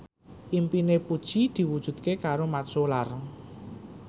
impine Puji diwujudke karo Mat Solar